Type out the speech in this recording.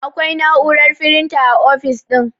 Akwai na'urar firinta a ofis ɗin